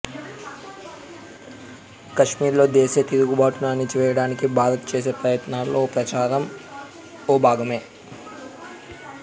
కశ్మీర్లో దేశీయ తిరుగబాటును అణచివేయడానికి భారత్ చేసే ప్రయత్నాల్లో ఈ ప్రచారం ఓ భాగమే